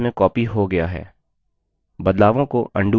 बदलावों को undo करें